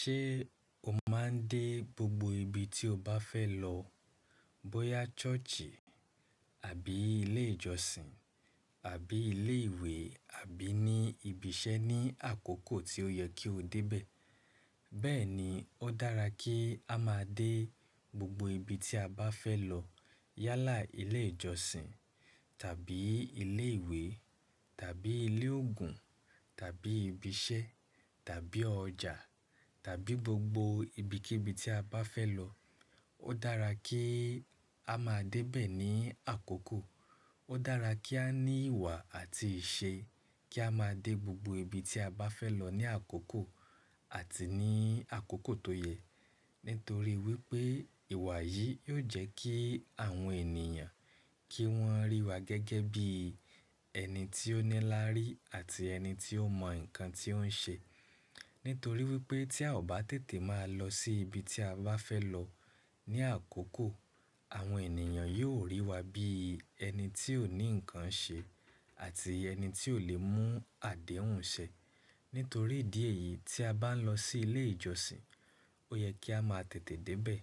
Ṣé o máa ń dé gbogbo ibi tí o bá fẹ́ lọ, bóyá church àbí ilé ìjọsìn àbí ilé ìwé àbí ní ibi iṣẹ́ ní àkókò tí ó yẹ kí o dé bẹ? Bẹ́ẹ̀ni, ó dára kí á máa dé gbogbo ibi tí a bá fẹ́ lọ yálà ilé ìjọsìn tàbí ilé ìwé tàbí ilé òògùn tàbí ibi iṣẹ́ tàbí ọjà tàbí gbogbo ibikíbi tí a bá fẹ́ lọ. Ó dára kí a máa dé bẹ ní àkókò. Ó dára kí a ní ìwà àti ìṣe kí a máa dé gbogbo ibi tí a bá fẹ́ lọ ní àkókò àti ní àkókò tó yẹ. Nítorí wípé ìwà yìí yóò jẹ́ kí àwọn ènìyàn kí wón rí wa gẹ́gẹ́ bí ẹni tí ó ní lári àti ẹni tí ó mọ nǹkan tí ó ń ṣe. Nítorí wípé tí a ò bá tètè máa lọ sí ibi tí a bá fẹ́ lọ ní àkókò, àwọn ènìyàn yóò rí wa bí ẹni tí ò ní nǹkan ṣe àti ẹni tí ò lè mú àdéhùn ṣẹ. Nítorí ìdí èyí, tí a bá ń lọ sí ilé ìjọsìn, ó yẹ kí a máa tètè dé bẹ.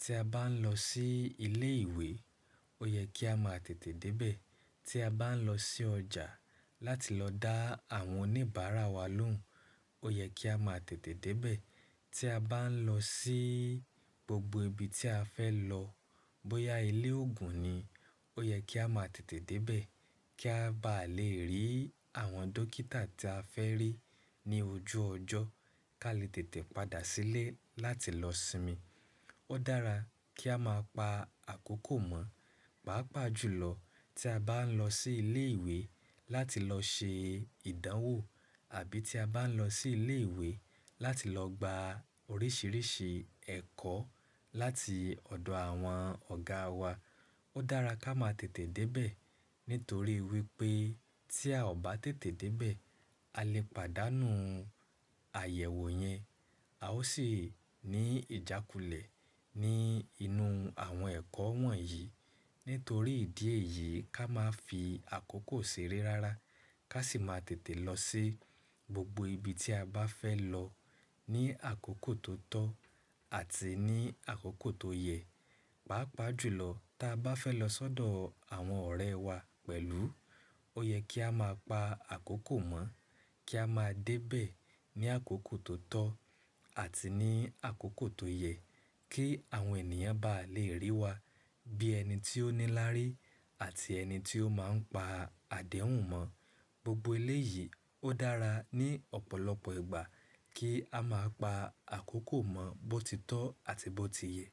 Tí a bá ń lọ sí ilé ìwé, ó yẹ kí a máa tètè dé bẹ. Tí a bá ń lọ sí ọjà láti lọ dá àwọn oníbàárà wa lóhùn, ó yẹ kí a máa tètè dé bẹ. Tí a bá ń lọ sí gbogbo ibi tí a fẹ́ lọ, bóyá ilé òògùn ni, ó yẹ kí a máa tètè dé bẹ kí a bá lè rí àwọn dókítà tí a fẹ́ rí ní ojú ọjọ́ kí a lè tètè padà sílé láti lọ sinmi. Ó dára kí a máa pa àkókò mọ̀. Páápàá jùlọ tí a bá ń lọ sí ilé ìwé láti lọ ṣe ìdánwò àbí tí a bá ń lọ sí ilé ìwé láti lọ gba oríṣiríṣi ẹ̀kọ́ láti ọ̀dọ̀ àwọn ọ̀gá wa, ó dára kí a máa tètè dé bẹ. Nítorí wípé tí a ò bá tètè dé bẹ, a lè pàdánù àyẹ̀wò yẹn. A ó sì ní ìjákulẹ̀ ní inú àwọn ẹ̀kọ́ wọ̀nyí. Nítorí ìdí èyí ká máa fi àkókò ṣeré rárá. Ká sì máa tètè lọ sí gbogbo ibi tí a bá fẹ́ lọ ní àkókò tó tọ́ àti ní àkókò tó yẹ. Páápàá jùlọ tí a bá fẹ́ lọ sọ́dọ̀ àwọn ọ̀rẹ́ wá pẹ̀lú, ó yẹ kí a máa pa àkókò mọ̀ kí a máa dé bẹ ní àkókò tó tọ́ àti ní àkókò tó yẹ kí àwọn ènìyàn bá lè rí wa bí ẹni tí ó ní lári àti ẹni tí ó máa ń pa àdéhùn mọ̀. Gbogbo ilé yìí, ó dára ní ọ̀pọ̀lọpọ̀ ìgbà kí a máa pa àkókò mọ̀ bó ti tọ́ àti bó ti yẹ.